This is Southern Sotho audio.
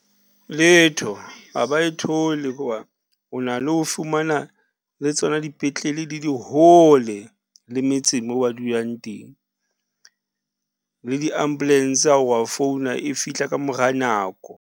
Letho ha ba e thole hoba o na le ho fumana le tsona dipetlele di le hole le metseng moo ba dulang teng, le di-ambulance ha o re wa founa e fihla ka mora nako.